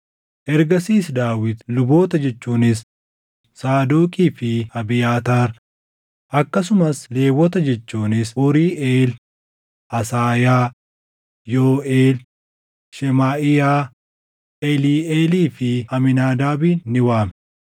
Ergasiis Daawit luboota jechuunis Saadoqii fi Abiyaataar akkasumas Lewwota jechuunis Uuriiʼeel, Asaayaa, Yooʼeel, Shemaaʼiyaa, Eliiʼeelii fi Amiinaadaabin ni waame;